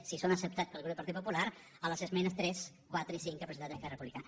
si són acceptats pel grup del partit popular a les esmenes tres quatre i cinc que ha presentat esquerra republicana